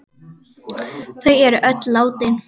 Þau er öll látin.